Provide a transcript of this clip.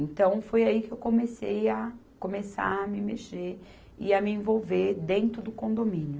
Então, foi aí que eu comecei a começar a me mexer e a me envolver dentro do condomínio.